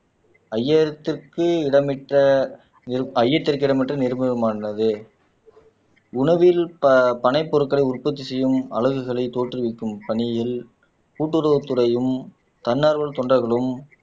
ஐயாயிரத்துக்கு இடமிட்ட ஐயத்திற்கு இடமற்ற நிரூபணமானது உணவில் பபனை பொருட்களை உற்பத்தி செய்யும் அலகுகளை தோற்றுவிக்கும் பணியில் கூட்டுறவுத் துறையும் தன்னார்வ தொண்டர்களும்